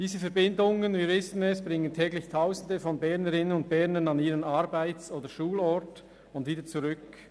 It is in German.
Wie wir wissen, bringen diese Verbindungen täglich Tausende von Bernerinnen und Bernern an ihren Arbeits- oder Schulort und wieder zurück.